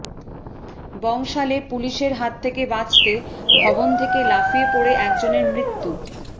বংশালে পুলিশের হাত থেকে বাঁচতে ভবন থেকে লাফিয়ে পড়ে একজনের মৃত্যূ